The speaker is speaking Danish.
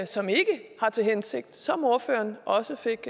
som ikke har til hensigt som ordføreren også fik